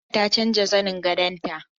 Halima ta canza zanin gadon ta